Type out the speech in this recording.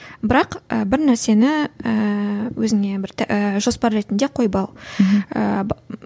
бірақ і бір нәрсені ііі өзіңе бір ііі жоспар ретінде қойып ал